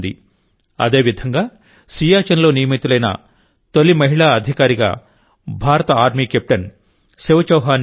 అదేవిధంగా సియాచిన్లో నియమితులైన తొలి మహిళా అధికారిగా భారత ఆర్మీ కెప్టెన్ శివ చౌహాన్ నిలిచారు